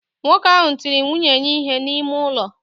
Nwoke ahụ tiri nwunye ya ihe n'ime ụlọ